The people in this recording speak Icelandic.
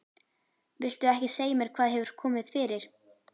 Viltu ekki segja mér hvað hefur komið fyrir?